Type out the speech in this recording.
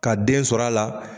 Ka den sɔrɔl'a la